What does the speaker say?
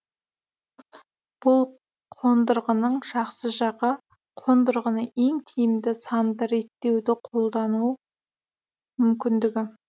бұл қондырғының жақсы жағы қондырғыны ең тиімді санды реттеуді қолдану мүмкіндігі